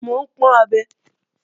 Mò ń pọ́n abẹ